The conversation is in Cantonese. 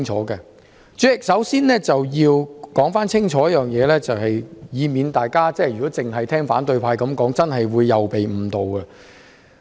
代理主席，首先要說清楚一點，以免大家只聽反對派所說，便會被誤導。